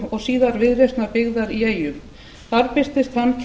og síðar viðreisnar byggðar í eyjum þar birtist hann